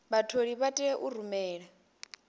vhatholi vha tea u rumela